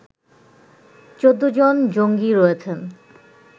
১৪ জন জঙ্গি রয়েছেন